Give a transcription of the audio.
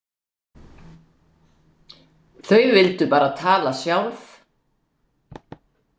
Þau vildu bara tala sjálf.